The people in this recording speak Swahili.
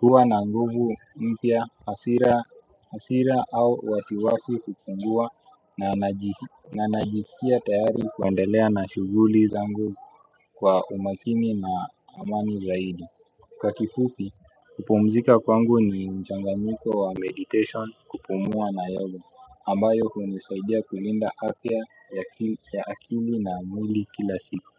Huwa na nguvu mpya, hasira au wasiwasi hupungua na najisikia tayari kuendelea na shughuli zangu kwa umakini na amani zaidi. Kwa kifupi, kupumzika kwangu ni mchanganyiko wa meditation, kupumua na yoga ambayo hunisaidia kulinda afya ya akili na mwili kila siku.